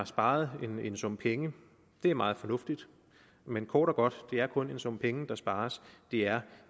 sparer en sum penge det er meget fornuftigt men kort og godt det er kun en sum penge der spares det er